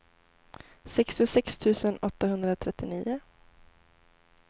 sextiosex tusen åttahundratrettionio